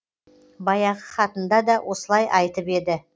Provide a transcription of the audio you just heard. баяғы хатында да осылай айтып еді